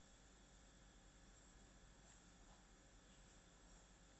салют шахзода согиниб